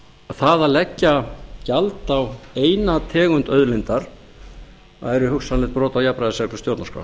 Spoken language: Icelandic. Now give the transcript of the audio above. það að leggja gjald á eina tegund auðlindar væri hugsanlegt brot á jafnræðisreglu